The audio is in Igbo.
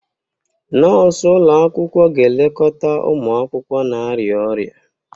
Nọọsụ ụlọ akwụkwọ ga-elekọta ụmụ akwụkwọ na-arịa ọrịa.